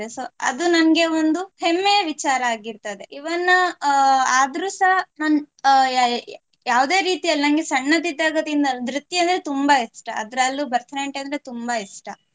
So ಅದು ನಂಗೆ ಒಂದು ಹೆಮ್ಮೆಯ ವಿಚಾರ ಆಗಿರುತ್ತದೆ. Even ಅಹ್ ಆದ್ರೂ ನಾನ್ ಅಹ್ ಯಾ~ ಯಾವುದೇ ರೀತಿಯಲ್ಲಿ ನಂಗೆ ಸಣ್ಣದಿದ್ದಾಗದಿಂದಲು ನೃತ್ಯ ಅಂದ್ರೆ ನಂಗೆ ತುಂಬಾ ಇಷ್ಟ ಅದ್ರಲ್ಲೂ ಭರತನಾಟ್ಯ ಅಂದ್ರೆ ತುಂಬಾ ಇಷ್ಟ.